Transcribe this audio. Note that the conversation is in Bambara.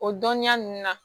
O dɔniya nunnu na